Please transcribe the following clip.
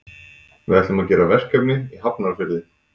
Við ætlum að gera verkefni í Hafnarfirði.